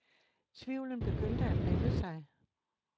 Tvivlen begyndte at melde sig.